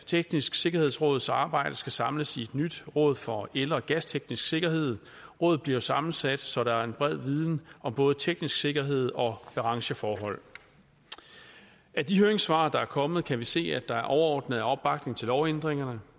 tekniske sikkerhedsråds arbejde skal samles i et nyt råd for el og gasteknisk sikkerhed rådet bliver sammensat så der er en bred viden om både teknisk sikkerhed og brancheforhold af de høringssvar der er kommet kan vi se at der overordnet er opbakning til lovændringerne